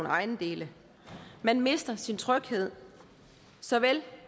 ejendele man mister sin tryghed såvel